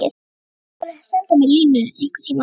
Þú mættir alveg senda mér línu einhverntíma.